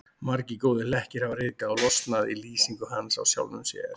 Margir góðir hlekkir hafa ryðgað og losnað í lýsingu hans á sjálfum sér.